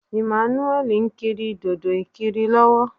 Emmanuel ń kiri dòdò-ìkiri lọ́wọ́